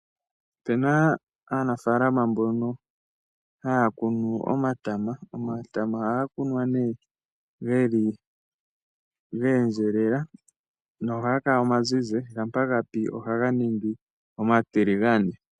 Ope na aanafalama mbono haya kunu omatama. Ohaga kunwa ge endjelela nohaga kala omazizi, shampa ga pi ohaga ningi omatiligane.